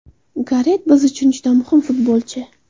Garet biz uchun juda muhim futbolchi.